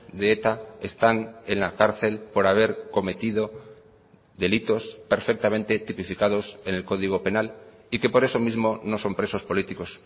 de eta están en la cárcel por haber cometido delitos perfectamente tipificados en el código penal y que por eso mismo no son presos políticos